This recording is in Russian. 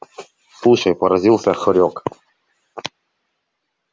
слушай поразился хорёк